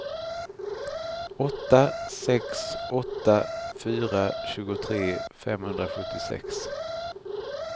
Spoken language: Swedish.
åtta sex åtta fyra tjugotre femhundrasjuttiosex